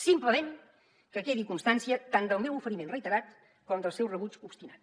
simplement que quedi constància tant del meu oferiment reiterat com del seu rebuig obstinat